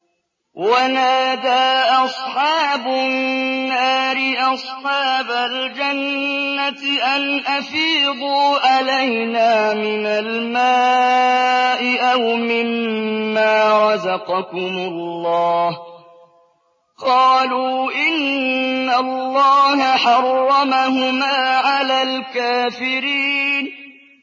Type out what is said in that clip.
وَنَادَىٰ أَصْحَابُ النَّارِ أَصْحَابَ الْجَنَّةِ أَنْ أَفِيضُوا عَلَيْنَا مِنَ الْمَاءِ أَوْ مِمَّا رَزَقَكُمُ اللَّهُ ۚ قَالُوا إِنَّ اللَّهَ حَرَّمَهُمَا عَلَى الْكَافِرِينَ